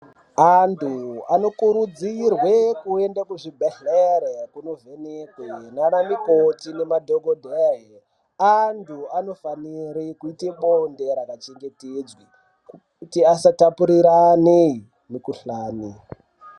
Antu anokurudzirwa kuenda kuzvibhedhlera kuvhenekwa nana mukoti nemadhokodheya antu anofanira kuita bonde rakachengetedzwa kuti asatapurirwane mikuhlani.